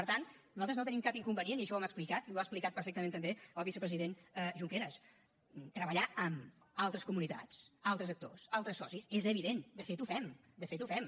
per tant nosaltres no tenim cap inconvenient i això ho hem explicat i ho ha explicat perfectament també el vicepresident junqueras a treballar amb altres comunitats altres actors altres socis és evident de fet ho fem de fet ho fem